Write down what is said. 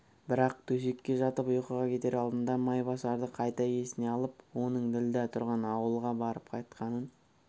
бірақ төсекке жатып ұйқыға кетер алдында майбасарды қайта есіне алып оның ділдә тұрған ауылға барып қайтқанын